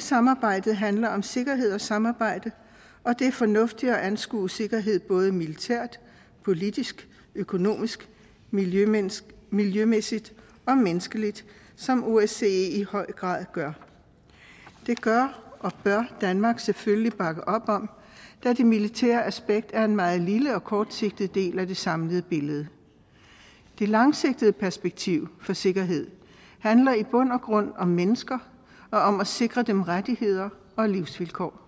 samarbejdet handler om sikkerhed og samarbejde og det er fornuftigt at anskue sikkerhed både militært politisk økonomisk miljømæssigt miljømæssigt og menneskeligt som osce i høj grad gør det gør og bør danmark selvfølgelig bakke op om da det militære aspekt er en meget lille og kortsigtet del af det samlede billede det langsigtede perspektiv for sikkerhed handler i bund og grund om mennesker og om at sikre dem rettigheder og livsvilkår